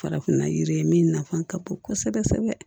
Farafinna yiri min nafa ka bon kosɛbɛ kosɛbɛ